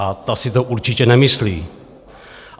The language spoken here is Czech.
A ta si to určitě nemyslí.